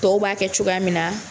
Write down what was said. Tɔw b'a kɛ cogoya min na